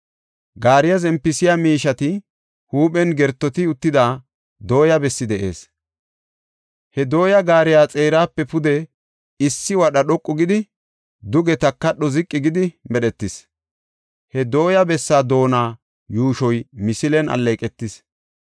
Gaariya zempisiya miisheta huuphen gertoti uttida dooya bessi de7ees; he dooyay gaariya xeerape pude issi wadha dhoqu gidi, duge takadho ziqi gidi medhetis. He dooya bessaa doona yuushoy misilen alleeqetis.